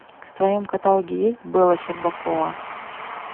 в твоем каталоге есть бэла щербакова